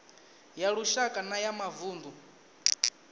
ya lushaka na ya mavunḓu